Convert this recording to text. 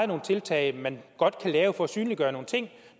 nogle tiltag man godt kan lave for at synliggøre nogle ting